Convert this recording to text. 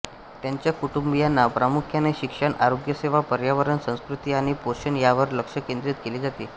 त्यांच्या कुटुबियांना प्रामुख्याने शिक्षण आरोग्यसेवा पर्यावरण संस्कृती आणि पोषण यावर लक्ष केंद्रित केले जाते